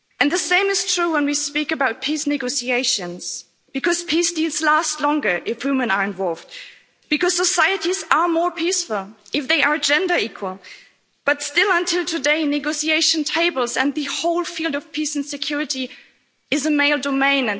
The same is true when we speak about peace negotiations because peace deals last longer if women are involved, because societies are more peaceful if they are gender equal, but still to this day negotiation tables and the whole field of peace and security is a male domain.